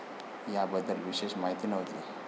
याबद्दल विशेष माहिती नव्हती.